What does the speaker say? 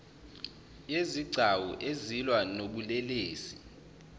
yezigcawu ezilwa nobulelesi